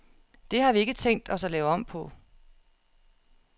Det har vi ikke tænkt os at lave om på.